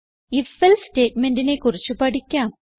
ifഎൽസെ സ്റ്റേറ്റ്മെന്റിനെ കുറിച്ച് പഠിക്കാം